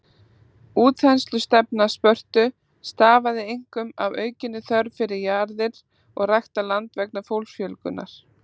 Útþenslustefna Spörtu stafaði einkum af aukinni þörf fyrir jarðir og ræktað land vegna fólksfjölgunar.